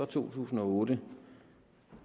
tusind og otte